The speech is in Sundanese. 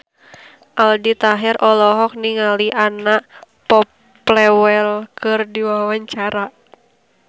Aldi Taher olohok ningali Anna Popplewell keur diwawancara